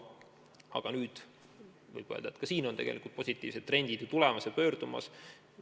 Samas võib öelda, et ka siin on tegelikult positiivsed trendid juba olemas.